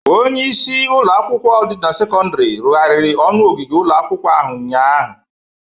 Onyeisi ụlọ akwụkwọ sekọndịrị dị na Presko rụgharịrị ọnụ ogige ụlọ akwụkwọ ahụ ụnyaahụ.